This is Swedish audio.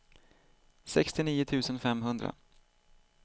sextionio tusen femhundra